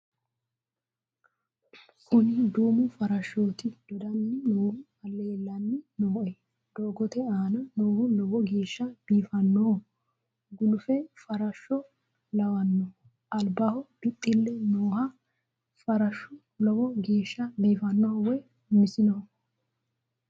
kuni duumo farashshooti dodanni noohu lellanni nooe doogote aana noohu lowo geeshsha biifannoho gulufi farashsho lawanno albaho bixxille nooho farashshu lowo geeshsha biifannoho woy minsoho